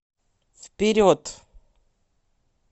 вперед